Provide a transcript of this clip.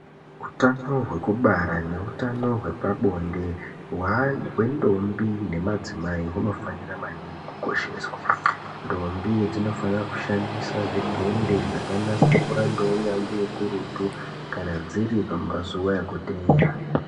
Hutano hwekubara nehutano hwepabonde hwendombi nemadzimai hunofanira maningi kukosheswa ndombi dzinofanira kushandisa zvidhende zvakanasirwa neunyanzvi ukurutu Kana dziri pamazuva ekutera.